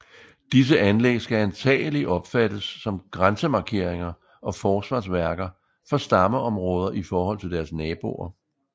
Disse anlæg skal antagelig opfattes som grænsemarkeringer og forsvarsværker for stammeområder i forhold til deres naboer